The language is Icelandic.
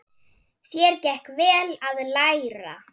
Þér gekk vel að læra.